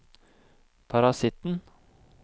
parasitten